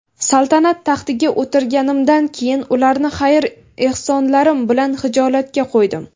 saltanat taxtiga o‘tirganimdan keyin ularni xayr-ehsonlarim bilan xijolatga qo‘ydim.